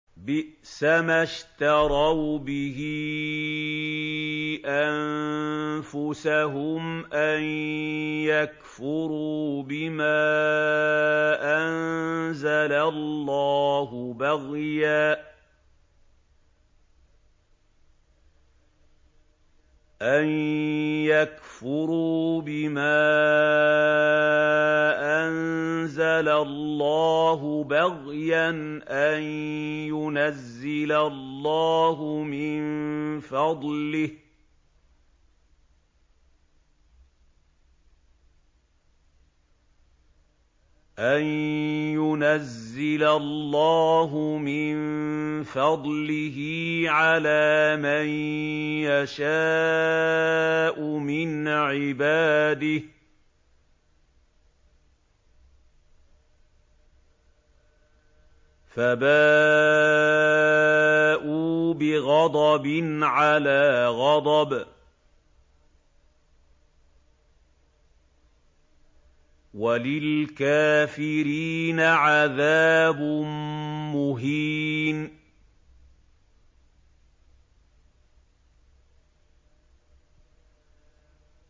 بِئْسَمَا اشْتَرَوْا بِهِ أَنفُسَهُمْ أَن يَكْفُرُوا بِمَا أَنزَلَ اللَّهُ بَغْيًا أَن يُنَزِّلَ اللَّهُ مِن فَضْلِهِ عَلَىٰ مَن يَشَاءُ مِنْ عِبَادِهِ ۖ فَبَاءُوا بِغَضَبٍ عَلَىٰ غَضَبٍ ۚ وَلِلْكَافِرِينَ عَذَابٌ مُّهِينٌ